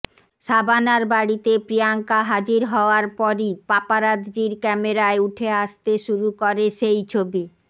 শাবানার বাড়িতে প্রিয়াঙ্কা হাজির হওয়ার পরই পাপারাতজির ক্যামেরায় উঠে আসতে শুরু করে সেই ছবি